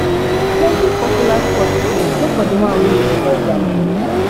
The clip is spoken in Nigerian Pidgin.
plenty popular spot de go for di one wey you enjoy their menu